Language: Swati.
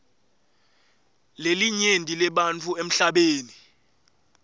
lelinyenti lebantfu emhlabeni